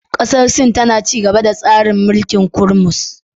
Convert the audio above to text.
Kasar Sin tana ci gaba da tsarin mulkin kummus